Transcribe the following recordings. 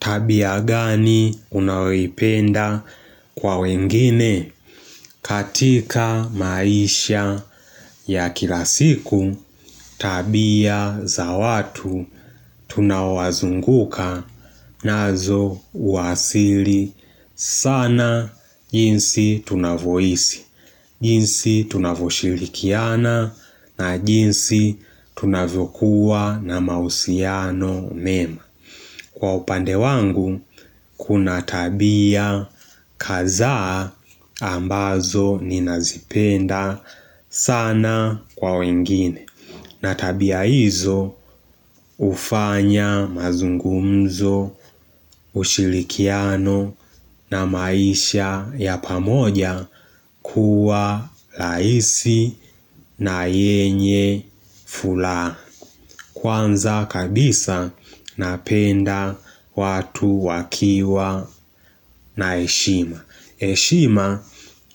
Tabia gani unayoipenda kwa wengine katika maisha ya kilasiku tabia za watu tunaowazunguka nazo huwasili sana jinsi tunavyoishi, jinsi tunavoshilikiana na jinsi tunavokuwa na mauhusiano mema. Kwa upande wangu kuna tabia kadhaa ambazo ni nazipenda sana kwa wengine na tabia hizo ufanya mazungumzo, ushirikiano na maisha ya pamoja kuwa rahiei na yenye furaha Kwanza kabisa napenda watu wakiwa na heshima heshima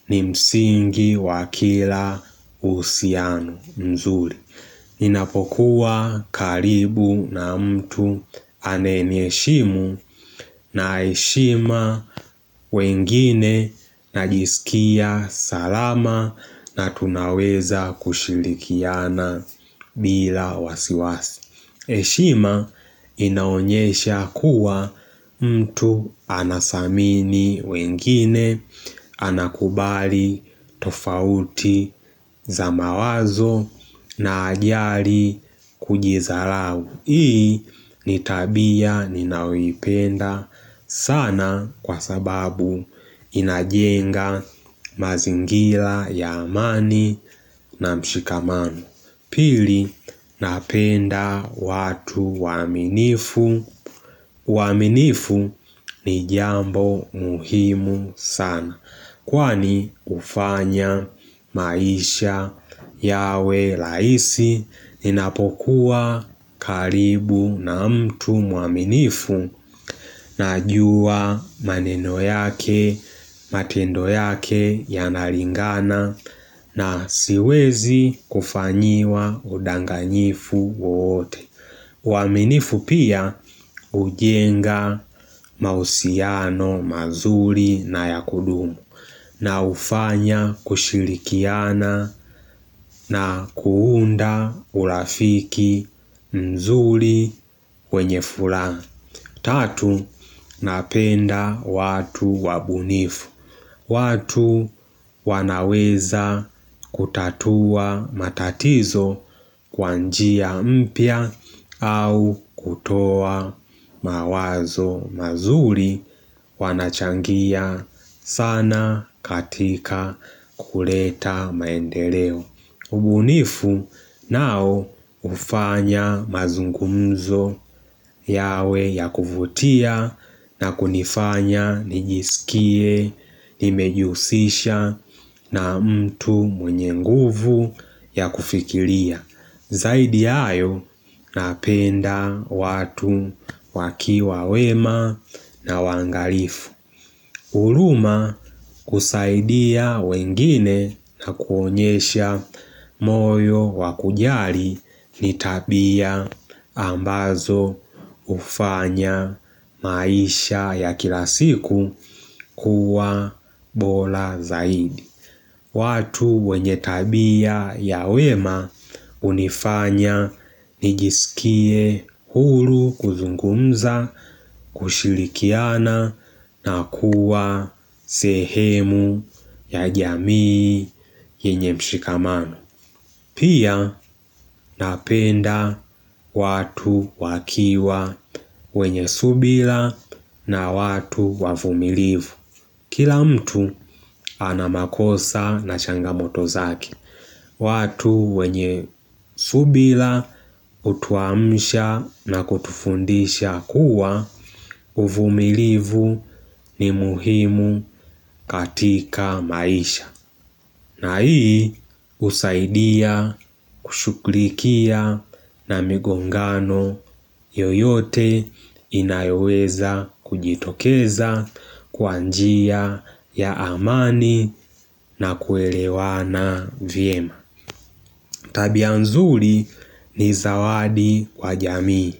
ni msingi wakila uhusiano mzuri Ninapokuwa karibu na mtu anayeniheshimu na heshima wengine najisikia salama na tunaweza kushirikiana bila wasiwasi heshima inaonyesha kuwa mtu anadhamini wengine anakubali tofauti za mawazo na hajali kujidhalau Hii nitabia ninayoipenda sana kwa sababu inajenga mazingira ya amani na mshikamano Pili napenda watu waaminifu uaminifu ni jambo muhimu sana Kwani hufanya maisha yawe rahisi Ninapokuwa karibu na mtu mwaminifu Najua maneno yake, matendo yake ya nalingana na siwezi kufanyiwa udanganyifu wowote uaminifu pia hujenga mauhusiano mazuri na ya kudumu na hufanya kushirikiana na kuunda urafiki mzuri wenye furaha Tatu, napenda watu wabunifu watu wanaweza kutatua matatizo kwa njia mpya au kutoa mawazo mazuri wanachangia sana katika kuleta maendeleo. Ubunifu nao hufanya mazungumzo yawe ya kuvutia na kunifanya nijisikie, nimejihusisha na mtu mwenye nguvu ya kufikiria. Zaidi ya hayo napenda watu wakiwa wema na waangalifu. Huruma kusaidia wengine na kuonyesha moyo wakujali ni tabia ambazo hufanya maisha ya kila siku kuwa bora zaidi. Watu wenye tabia ya wema hunifanya nijisikie huru kuzungumza kushirikiana na kuwa sehemu ya jamii yenye mshikamano. Pia napenda watu wakiwa wenye subira na watu wavumilivu. Kila mtu anamakosa na changamoto zake, watu wenye subira hutuamsha na kutufundisha kuwa uvumilivu ni muhimu katika maisha. Na hii husaidia kushughulikia na migongano yoyote inayoweza kujitokeza kwa njia ya amani na kuelewana vyema. Tabia nzuri ni zawadi kwa jamii.